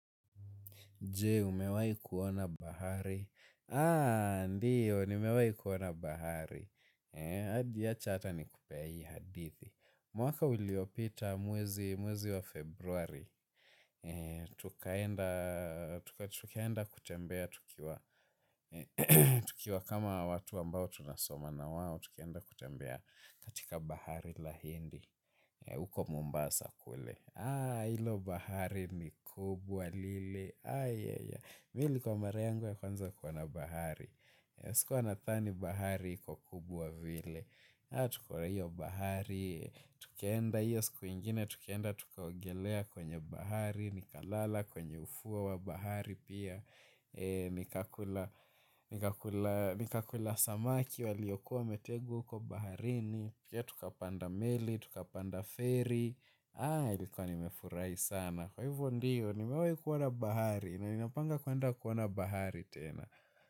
Jee, umewai kuona bahari? Aa, ndiyo, nimewai kuona bahari. Adi acha ata ni kupee hii hadithi. Mwaka uliopita mwezi wa februari. Tukaenda kutembea tukiwa kama watu ambao tunasoma na wao. Tukaenda kutembea katika bahari la hindi. Uko mombasa kule. Aa, ilo bahari ni kubwa lile. Mi ilikuwa mara yangu ya kwanza kuona bahari. Sikuwa na thani bahari kuwa kubwa vile. Tukaona hiyo bahari. Tukaenda hiyo sikuingine. Tukaenda tukaogelea kwenye bahari. Nikalala kwenye ufuo wa bahari pia. Nikakula samaki waliokuwa wametegwa huko baharini. Pia tukapanda meli, tukapanda ferry. Haa nilikuwa nimefurahi sana. Kwa hivyo ndiyo, nimewai kuona bahari. Na ninapanga kuenda kuona bahari tena.